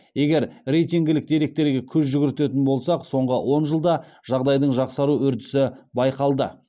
егер рейтингілік деректерге көз жүгіртетін болсақ соңғы он жылда жағдайдың жақсару үрдісі байқалды